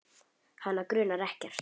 Hana grunar ekkert.